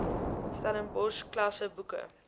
stellenbosch klasse boeke